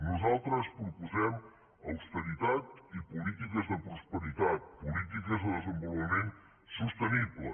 nosaltres proposem austeritat i polítiques de prosperitat polítiques de desenvolupament sostenible